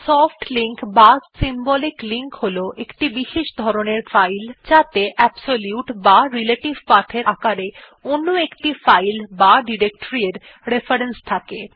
soft link বা symbolic link হল একটি বিশেষ ধরনের ফাইল যাত়ে অ্যাবসোলিউট বা রিলেটিভ path এর আকারে অন্য একটি ফাইল বা ডিরেকটরি এর রেফারেন্স থাকে